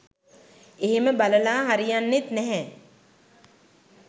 එහෙම බලලා හරියන්නෙත් නැහැ.